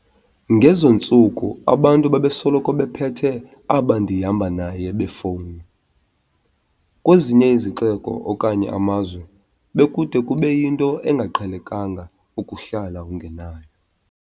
Ngezo ntsuku abantu babesoloko bephethe aba 'ndihamba naye' beefowuni, kwezinye izixeko okanye amazwe bekude kube yinto engaqhelekanga ukuhlala ungenayo.